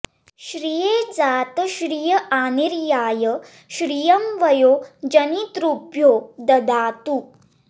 श्रिये जात श्रिय आनिर्याय श्रियं वयो जनितृभ्यो दधातु